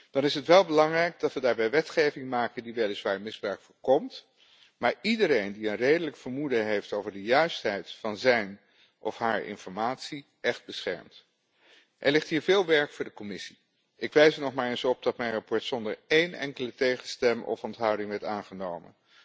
Dan is het wel belangrijk dat we daarbij wetgeving maken die weliswaar misbruik voorkomt, maar iedereen die een redelijk vermoeden heeft over de juistheid van zijn of haar informatie echt beschermt. Er ligt hier veel werk voor de Commissie. Ik wijs er nog maar eens op dat mijn verslag zonder één enkele tegenstem of onthouding werd aangenomen.